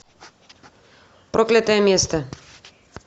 проклятое место